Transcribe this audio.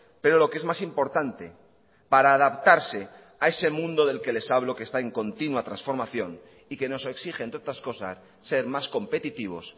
pero lo que es más importante para adaptarse a ese mundo del que les hablo que está en continua transformación y que nos exige entre otras cosas ser más competitivos